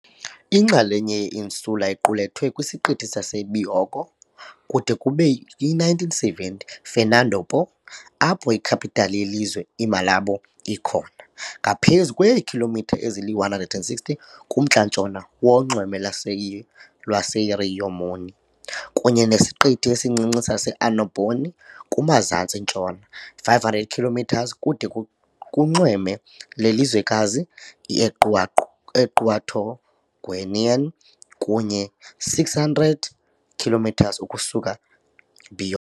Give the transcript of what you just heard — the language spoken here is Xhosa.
Inxalenye ye-insular iqulethwe kwisiqithi saseBioko, kude kube yi-1970 "Fernando Po", apho i-capital yelizwe, i- Malabo, ikhona, ngaphezu kweekhilomitha ezili-160 kumntla-ntshona wonxweme lwase lwaseRio Muni, kunye nesiqithi esincinci sase- Annobon kumazantsi-ntshona, 500 km kude kunxweme yelizwekazi Equatoguinean kunye 600 km ukusuka Bioko.